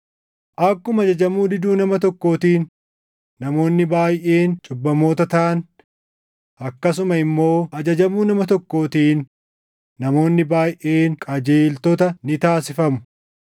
Akkuma ajajamuu diduu nama tokkootiin namoonni baayʼeen cubbamoota taʼan, akkasuma immoo ajajamuu nama tokkootiin namoonni baayʼeen qajeeltota ni taasifamu.